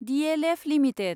DLF limited